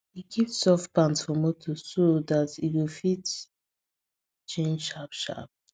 e keep soft pant for motor so that e go fit change sharp sharp